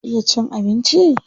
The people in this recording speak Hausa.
Ya iya cin abinci?